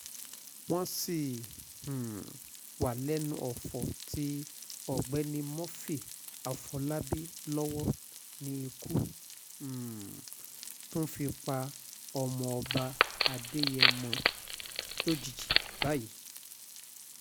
wọ́n sì um wà lẹ́nu ọ̀fọ̀ tí olóògbé murphy àfọlábí lọ́wọ́ ni ikú um tún fi pa ọmọọba adéyẹ̀mọ́ lójijì báyìí